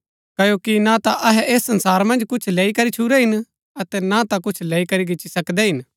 क्ओकि ना ता अहै ऐस संसारा मन्ज कुछ लेई करी छूरै हिन अतै ना ता कुछ लैई करी गिची सकदै हिन